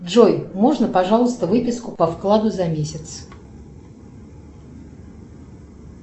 джой можно пожалуйста выписку по вкладу за месяц